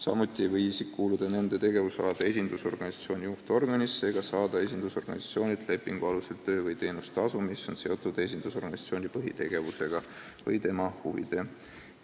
Samuti ei või ta kuuluda nende tegevusalade esindusorganisatsiooni juhtorganisse ega saada esindusorganisatsioonilt lepingu alusel töö- või teenustasu, mis on seotud esindusorganisatsiooni põhitegevusega või tema huvide